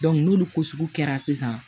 n'olu ko sugu kɛra sisan